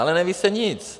Ale neví se nic.